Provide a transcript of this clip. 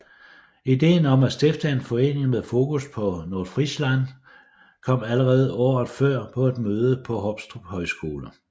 Ideen om at stifte en forening med fokus på Nordfrisland kom allerede året før på et møde på Hoptrup Højskole